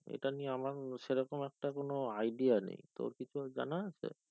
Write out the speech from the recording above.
এটা নিয়ে আমার সে রকম একটা কোনো idea নেই তো কি তোর জানা আছে কিছুই আইডিয়া নয় তুমি কিছুই জানা আছি